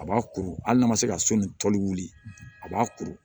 A b'a kuru hali n'a ma se ka so ni wuli a b'a kuru